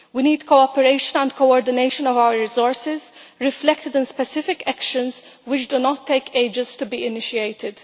We need cooperation and coordination of our resources, reflected in specific actions which do not take ages to be initiated.